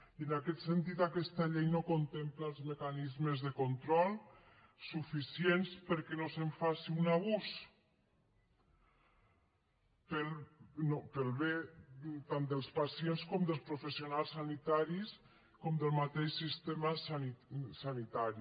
i en aquest sentit aquesta llei no contempla els mecanismes de control suficients perquè no se’n faci un abús pel bé tant dels pacients com dels professionals sanitaris com del mateix sistema sanitari